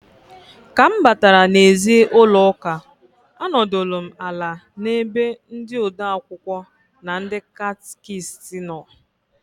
Ka m batara n'ezi ụlọụka anọdụlụ m ala n'ebe ndị ode akwụkwọ na ndị catịkist nọ.